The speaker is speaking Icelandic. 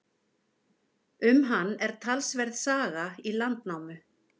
Um hann er talsverð saga í Landnámu.